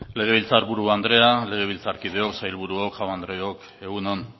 legebiltzar buru andrea legebiltzarkideok sailburuok jaun andreok egun on